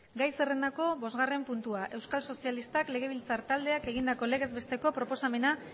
gai zerrendako bosgarren puntua euskal sozialistak legebiltzar taldeak egindako legez besteko proposamena